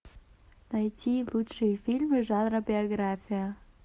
найти лучшие фильмы жанра биография